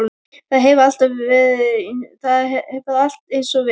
Það hefur allt eins og við.